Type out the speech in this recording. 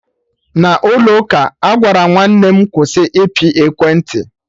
n'ụlọ ụka, Agwaram nwanne m "kwụsị ịpị ekwentị"